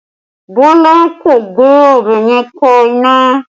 Bọlá kò gbé ọbẹ̀ yẹn ka iná